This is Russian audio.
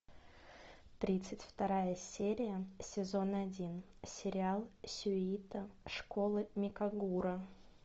тридцать вторая серия сезон один сериал сюита школы микагура